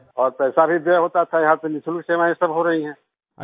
और पैसा भी व्यय होता था और यहाँ पर निशुल्क सेवाएँ सब हो रही हैं